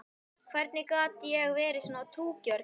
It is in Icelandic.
Hvernig gat ég verið svo trúgjörn?